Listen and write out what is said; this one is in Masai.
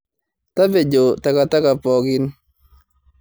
Tapejo takataka poookin.